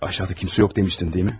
Aşağıda heç kim yox demişdin, deyilmi?